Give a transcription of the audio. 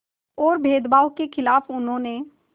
और भेदभाव के ख़िलाफ़ उन्होंने